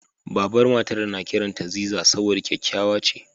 Babar Matar na kiranta Ziza saboda kyakkyawa ce.